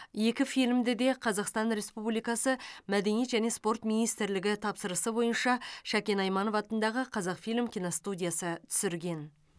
екі фильмді де қазақстан республикасы мәдениет және спорт министрлігі тапсырысы бойынша шакен айманов атындағы қазақфильм киностудиясы түсірген